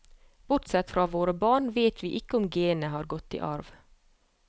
Bortsett fra våre barn vet vi ikke om genet har gått i arv.